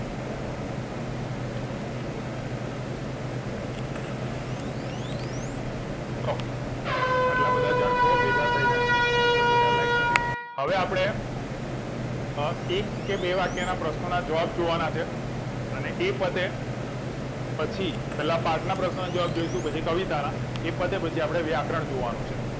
હવે આપડે અ એક કે બે વાક્યો નાં પ્રશ્નો નાં જવાબ જોવા નાં છે અને એ પતે પછી પેલા પાઠ ના પ્રશ્નો ના જવાબ જોઈશું પછી કવિતા નાં એ પતે પછી આપડે વ્યાકરણ જોવા નું છે